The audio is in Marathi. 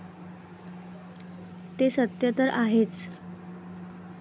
ते सत्य तर आहेच.